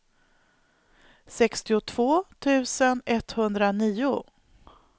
sextiotvå tusen etthundranio